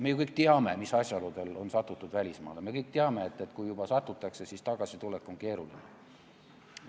Me ju kõik teame, mis asjaoludel on satutud välismaale, me kõik teame, et kui juba satutakse, siis tagasitulek on keeruline.